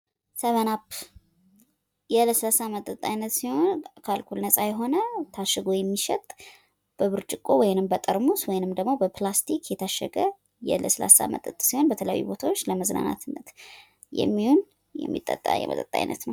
ሰቭን አፕ የለስላሳ መጠጥ አይነት ሲሆን ከአልኮል ነፃ የሆነ ታሽጎ የሚሸጥበብርጭቆ ወይንም በጠርሙስ ወይንም ደግም በፕላስቲክ የታሸገ የለስላሳ መጠጥ ሲሆን በተለያዩ ቦታዎች ለመዝናናትነት የሚሆን የሚጠጣ የመጠጥ አይነት ነው።